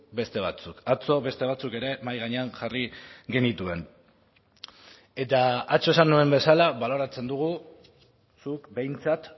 beste batzuk atzo beste batzuk ere mahai gainean jarri genituen eta atzo esan nuen bezala baloratzen dugu zuk behintzat